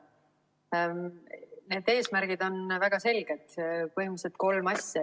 Need eesmärgid on väga selged, põhimõtteliselt kolm asja.